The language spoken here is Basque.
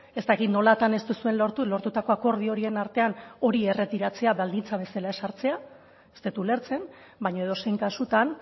ez dakit nolatan ez duzuen lortu lortutako akordio horien artean hori erretiratzea baldintza bezala ezartzea ez dut ulertzen baina edozein kasutan